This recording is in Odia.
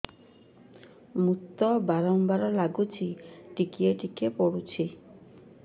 ମୁତ ବାର୍ ବାର୍ ଲାଗୁଚି ଟିକେ ଟିକେ ପୁଡୁଚି